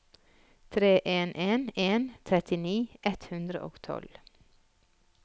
tre en en en trettini ett hundre og tolv